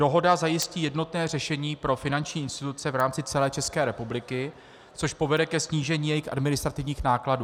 Dohoda zajistí jednotné řešení pro finanční instituce v rámci celé České republiky, což povede ke snížení jejich administrativních nákladů.